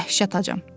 Mən dəhşət acam.